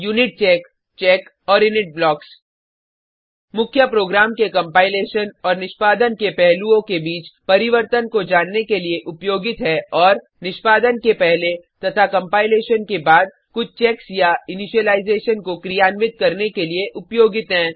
unitcheck check और init blocks मुख्य program के कंपाइलेशन और निष्पादन के पहलूओं के बीच परिवर्तन को जानने के लिए उपयोगित है और निष्पादन के पहले तथा कंपाइलेशन के बाद कुछ चेक्स या इनिशिलाइजेशन को क्रियान्वित करने के लिए उपयोगित हैं